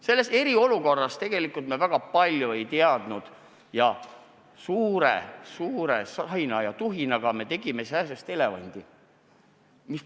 Selles eriolukorras me tegelikult väga palju ei teadnud ja suure-suure sahina ja tuhinaga tegime sääsest elevandi.